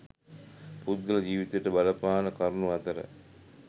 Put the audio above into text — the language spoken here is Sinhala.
පුද්ගල ජීවිතයට බලපාන කරුණු අතර